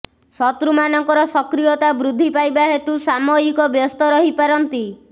ଶତ୍ରୁମାନଙ୍କର ସକ୍ରିୟତା ବୃଦ୍ଧି ପାଇବା ହେତୁ ସାମୟିକ ବ୍ୟସ୍ତ ରହିପାରନ୍ତି